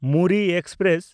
Muri express